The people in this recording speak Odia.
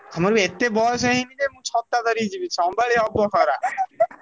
ଆମର ବି ଏତେ ବୟସ ହେଇନି ଯେ ମୁଁ ଛତା ଧରିକି ଯିବି ସମ୍ଭାଳି ହବ ଖରା